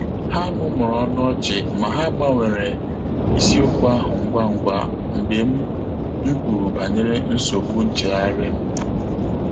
Há mụ́mụ́rụ̀ ọ́nụ́ ọ́chị́ mà há gbànwèèrè ìsíókwú áhụ́ ngwà ngwá mgbe m m kwùrù bànyèrè nsógbú nchéghárị́ m.